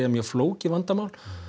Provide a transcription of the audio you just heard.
mjög flókið vandamál